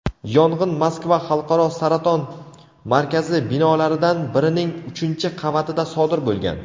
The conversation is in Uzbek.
yong‘in Moskva xalqaro saraton markazi binolaridan birining uchinchi qavatida sodir bo‘lgan.